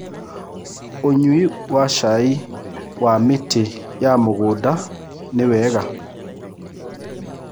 Ũnyũĩ wa cai wa mĩtĩ ma mũgũnda nĩwega